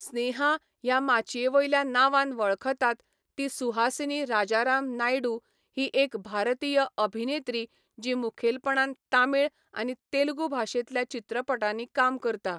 स्नेहा ह्या माचयेवयल्या नांवान वळखतात ती सुहासिनी राजाराम नायडू ही एक भारतीय अभिनेत्री जी मुखेलपणान तमिळ आनी तेलुगू भाशेंतल्या चित्रपटांनी काम करता.